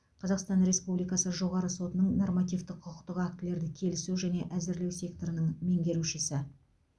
қазақстан республикасы жоғарғы сотының нормативтік құқықтық актілерді келісу және әзірлеу секторының меңгерушісі